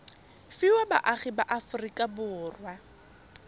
fiwa baagi ba aforika borwa